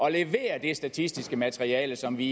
at levere det statistiske materiale som vi